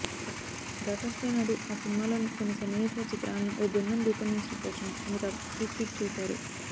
daughters day నాడు ఆ సినిమాలోని కొన్ని సన్నివేశాల చిత్రాలను ఓ బృందం రూపొందించిన పోస్టును అమితాబ్ రీట్వీట్ చేశారు